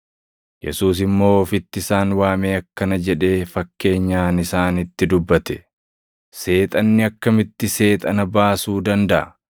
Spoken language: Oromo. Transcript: Yesuus immoo ofitti isaan waamee akkana jedhee fakkeenyaan isaanitti dubbate: “Seexanni akkamitti Seexana baasuu dandaʼa?